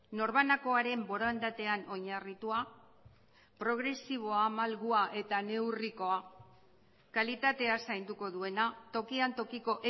norbanakoaren borondatean oinarritua progresiboa malgua eta neurrikoa kalitatea zainduko duena tokian tokiko